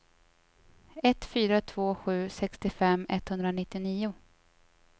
ett fyra två sju sextiofem etthundranittionio